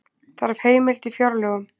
Þarf heimild í fjárlögum